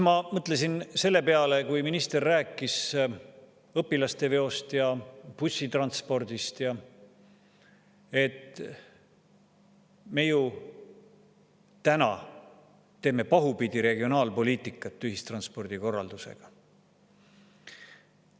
Ma mõtlesin selle peale, kui minister rääkis õpilaste veost ja bussitranspordist, et me ju täna teeme pahupidi regionaalpoliitikat ühistranspordi korraldusega.